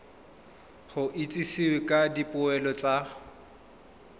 go itsisiwe ka dipoelo tsa